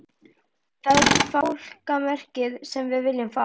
Það er fálkamerkið sem við viljum fá.